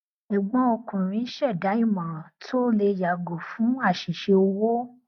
ẹgbọn ọkùnrin ṣẹdá ìmòràn tó lè yàgò fún àṣìṣe owó